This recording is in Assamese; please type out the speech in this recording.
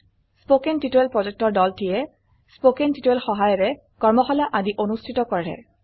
কথন শিক্ষণ প্ৰকল্পৰ দলটিয়ে কথন শিক্ষণ সহায়িকাৰে কৰ্মশালা আদি অনুষ্ঠিত কৰে